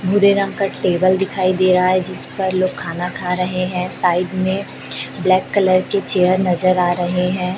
भूरे रंग कर टेबल दिखाई दे रहा है जिस पर लोग खाना खा रहे हैं। साइड में ब्लैक कलर के चेयर नजर आ रहे हैं।